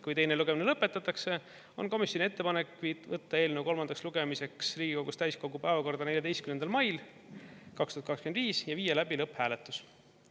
Kui teine lugemine lõpetatakse, on komisjoni ettepanek võtta eelnõu kolmandaks lugemiseks Riigikogu täiskogu päevakorda 14. mail 2025 ja viia läbi lõpphääletus.